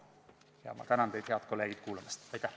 Ja ma tänan teid, head kolleegid, kuulamast!